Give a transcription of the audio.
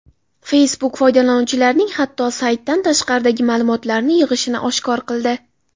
Facebook foydalanuvchilarning hatto saytdan tashqaridagi ma’lumotlarini yig‘ishini oshkor qildi.